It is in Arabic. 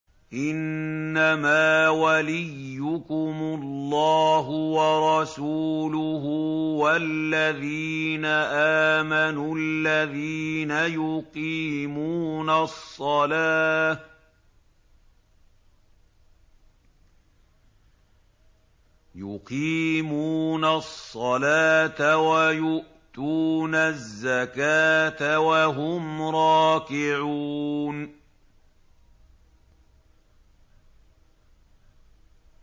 إِنَّمَا وَلِيُّكُمُ اللَّهُ وَرَسُولُهُ وَالَّذِينَ آمَنُوا الَّذِينَ يُقِيمُونَ الصَّلَاةَ وَيُؤْتُونَ الزَّكَاةَ وَهُمْ رَاكِعُونَ